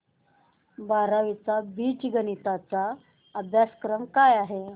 बारावी चा बीजगणिता चा अभ्यासक्रम काय आहे